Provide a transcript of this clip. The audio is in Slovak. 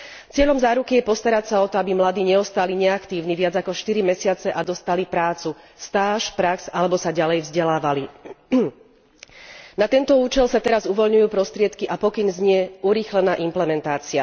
Cieľom záruky je postarať sa o to, aby mladí neostali neaktívni viac ako štyri mesiace a dostali prácu, stáž alebo sa ďalej vzdelávali. Na tento účel sa teraz uvoľňujú prostriedky a pokyn znie urýchlená implementácia.